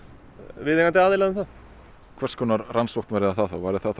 viðeigandi aðila um það hvers konar rannsókn verður það þá verður það